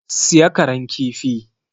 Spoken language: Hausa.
Siya Karan kifi!